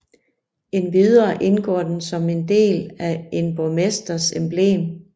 Endvidere indgår den som en del af en borgmesters emblem